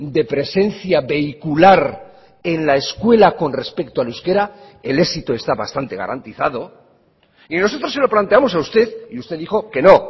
de presencia vehicular en la escuela con respecto al euskera el éxito está bastante garantizado y nosotros se lo planteamos a usted y usted dijo que no